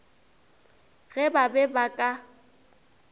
ge ba be ba ka